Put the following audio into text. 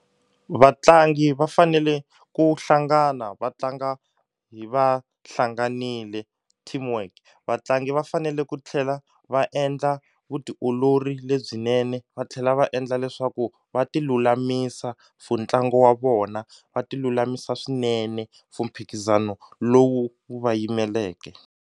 Vatlangi va fanele ku hlangana va tlanga hi va hlanganile teamwork vatlangi va fanele ku tlhela va endla vutiolori lebyinene va tlhela va endla leswaku va ti lulamisa for ntlangu wa vona va ti lulamisa swinene for mphikizano lowu wu va yimeleke.